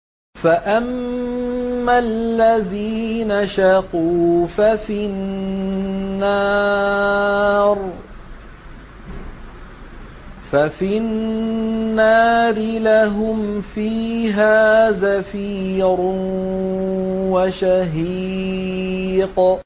فَأَمَّا الَّذِينَ شَقُوا فَفِي النَّارِ لَهُمْ فِيهَا زَفِيرٌ وَشَهِيقٌ